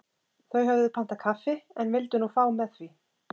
þau höfðu pantað kaffi en vildu nú fá með því